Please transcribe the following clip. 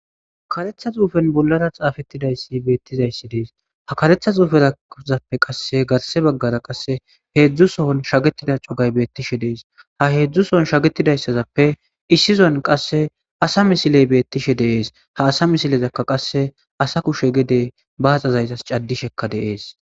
Karetha xuufen bollara xaafettidayssi beettizayssi dees ha karetha xuuferazappe qasse garse baggara qasse heedzdzusoon shagetida cogay beettishe dees ha heedzdzu soon shagetidayssazappe issizon qasse asa misiley beettishe deees ha asa misilezakka qasse asa kushe gede baaxazaytas caddishekka deees